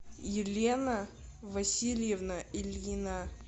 елена васильевна ильина